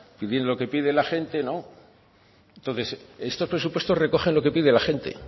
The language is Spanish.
lo que pide la gente entonces estos presupuestos recogen lo que pide la gente